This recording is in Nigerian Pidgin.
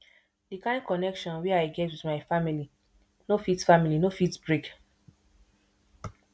di kain connection wey i get wit my family no fit family no fit break